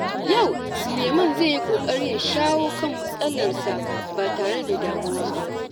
Yau, Sulaiman zai yi ƙoƙari ya shawo kan matsalarsa ba tare da damuwa ba.